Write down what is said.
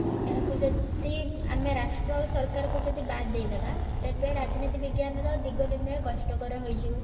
ଏହା କୁ ଯଦି ରାଷ୍ଟ୍ର ଆଉ ସରକାର କୁ ଯଦି ବାଦ ଦେଇ ଦବା ତେବେ ରାଜନୀତି ବିଜ୍ଞାନ ର ଦିଗ ନିର୍ନୟ କଷ୍ଟ କର ହୋଇ ଯିବ